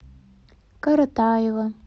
каратаева